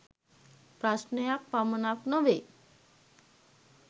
ප්‍රශ්ණයක් පමණක් නොවේ.